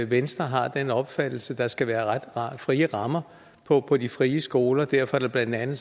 venstre har den opfattelse at der skal være ret frie rammer på på de frie skoler og derfor er det blandt andet